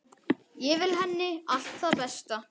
Ég vil henni allt það besta.